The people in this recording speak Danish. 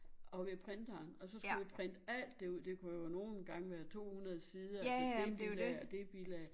Og ved printeren og så skulle vi printe alt det ud det kunne jo nogen gange være 200 sider altså dét bilag og dét bilag